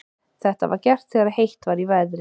Þetta var gert þegar heitt var í veðri.